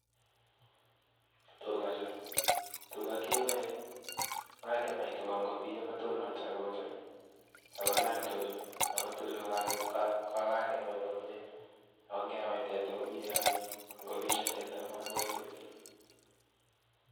Tuga chuu, tuga keboe ako ngebai kobiyo kotonso kouchu. Ago chang' tuchu ago kakebai komye ako ngebai teta komakoime biik